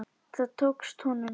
Það tókst honum.